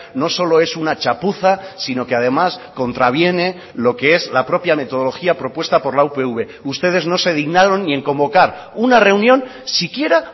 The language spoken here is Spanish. no solo es una chapuza sino que además contraviene lo que es la propia metodología propuesta por la upv ustedes no se dignaron ni en convocar una reunión siquiera